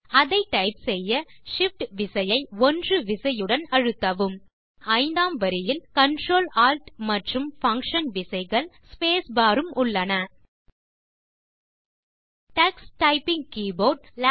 அதை டைப் செய்ய Shift விசையை 1 விசையுடன் அழுத்தவும் விசைப்பலகையின் ஐந்தாம் வரியில் Ctrl Alt மற்றும் பங்ஷன் விசைகள் ஸ்பேஸ் பார் உம் உள்ளன டக்ஸ் டைப்பிங் கீபோர்ட்